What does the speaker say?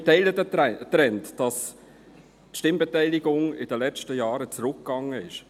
Wir teilen den Trend, wonach die Stimmbeteiligung in den letzten Jahren zurückgegangen ist.